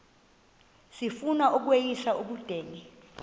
sifuna ukweyis ubudenge